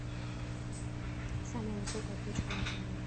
самая высокая точка на земле